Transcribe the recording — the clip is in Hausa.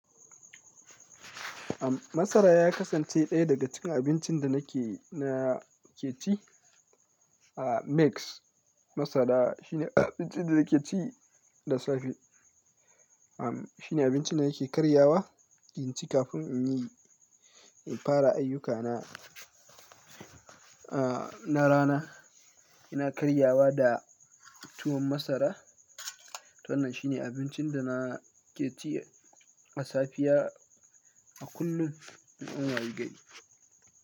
Masara ya kasance ɗaya daga cikin abincin da nake, na ke ci. Aaa, Mix masara shine abincin da nake ci da safe. Amm, shine abincin da nake karyawa in ci kafin in yi, in fara ayyukana aaa, na rana. Ina karyawa da tuwon masara. Wannan shine abincin da na ke ci a safiya a kullum in an wayi gari.